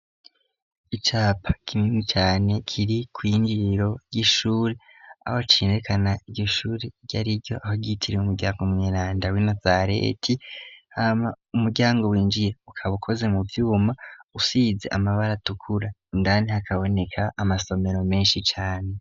Icapa kininwi cane kiri kw'injiriro ry'ishure aho acirekana igyi shure ryo ari ryo ahogitiriwe umuryango umuniranda w'i nazareti hama umuryango winjiye ukaba ukoze mu vyuma usize amabara tukura indanti hakaboneka amasomero menshi cane.